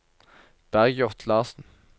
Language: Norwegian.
Bergljot Larsson